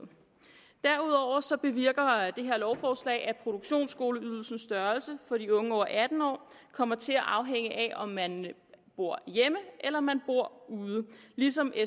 derudover bevirker det her lovforslag at produktionsskoleydelsens størrelse for de unge over atten år kommer til at afhænge af om man bor hjemme eller man bor ude ligesom